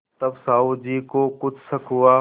तब साहु जी को कुछ शक हुआ